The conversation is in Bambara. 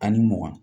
Ani mugan